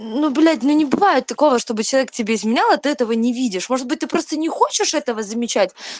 ну блять ну не бывает такого чтобы человек тебе изменял а ты этого не видишь может быть ты просто не хочешь этого замечать